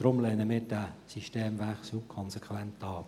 Deshalb lehnen wir diesen Systemwechsel konsequent ab.